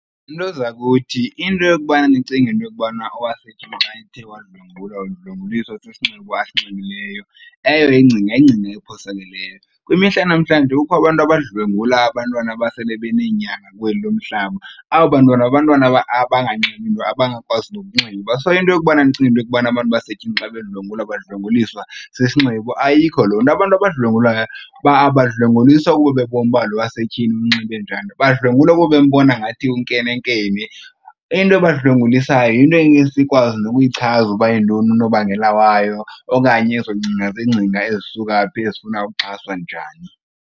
Nto zakuthi into yokubana nicinge into yokubana owasetyhini xa ethe wadlwengulwa udlwenguliswa sisinxibo asinxibileyo, eyo ingcinga yingcinga ephosakeleyo. Kwimihla yanamhlanje kukho abantu abadlwengula abantwana abasele beneenyanga kweli lo mhlaba, aba bantwana ngabantwana abanganxibo nto abangakwazi nokunxiba. So, into yokubana ndicinga okubana abantu basetyhini xa bedlwengulwa badlwenguliswa sisinxibo ayikho loo nto. Abantu abadlwengulayo abadlwenguliswa kuba bebona ukuba lo wasetyhini unxibe njani, badlwengula kuba bembona ngathi unkenenkene. Eyona nto ibadlwengulisayo yinto engeke sikwazi nokuyichaza uba yintoni unobangela wayo okanye ezo ngcinga zingcinga ezisuka phi ezifuna ukuxhaswa njani.